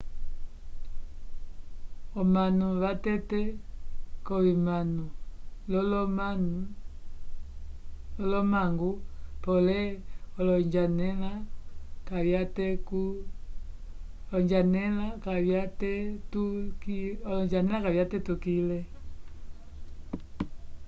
omanu vavetele k'ovimano l'olomangu pole olonjanela kavyatetukile